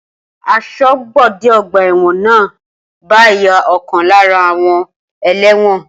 Asọ́bodè ọgbà ẹ̀wọ̀n náà ń bá ìyá ọ̀kan lára àwọn ẹlẹ́wọ̀n